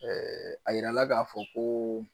a yira la k'a fɔ ko